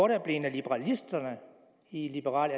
der blevet af liberalisterne i liberal